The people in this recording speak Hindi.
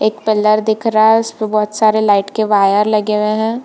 एक पिलर दिख रहा है उसेपे बहुत सारे लाइट के वायर लगे हुए हैं।